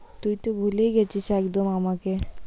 তুই তো ভুলেই গেছিস একদম আমাকে।